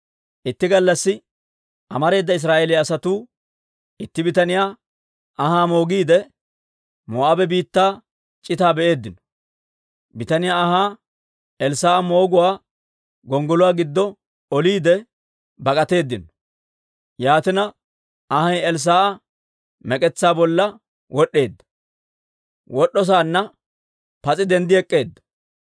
Itti gallassi amareeda Israa'eeliyaa asatuu itti bitaniyaa anhaa moogiide, Moo'aabe biittaa c'itaa be'eeddino. Bitaniyaa anhaa Elssaa'a mooguwaa gonggoluwaa giddo oliide bak'atteedino. Yaatina anhay Elssaa'a mek'etsaa bolla wod'd'eedda; he man''iyaan pas'inne denddi ek'k'eedda.